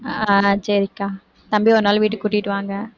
அஹ் சரிக்கா தம்பியை ஒரு நாளைக்கு வீட்டுக்கு கூட்டிட்டு வாங்க